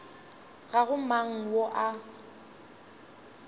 ga go mang yo a